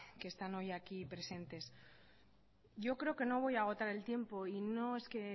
que están hoy aquí presentes yo creo que no voy a agotar el tiempo y no es que